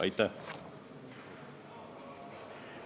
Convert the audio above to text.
Aitäh!